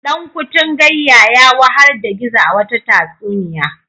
Dankutungayya ya wahar da Gizo a wata tatsuniya.